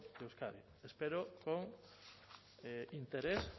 de euskadi espero con interés